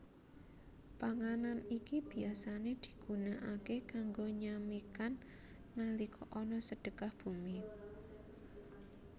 Panganan iki biasané digunakaké kanggo nyamikan nalika ana Sedekah Bumi